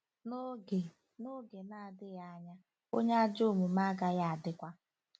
“N’oge “N’oge na-adịghị anya, onye ajọ omume agaghị adịkwa...